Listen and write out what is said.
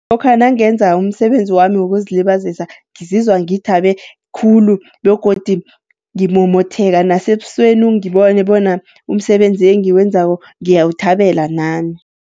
Lokha nangenza umsebenzi wami wokuzilibazisa ngizizwa ngithabe khulu, begodu ngimomothekaka nasebusweni ungibone bona umsebenzi engiwenzako ngiyawuthabele nami.